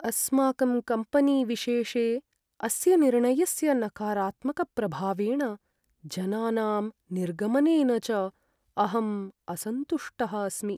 अस्माकं कम्पेनीविशेषे अस्य निर्णयस्य नकारात्मकप्रभावेण, जनानां निर्गमनेन च अहं असन्तुष्टः अस्मि।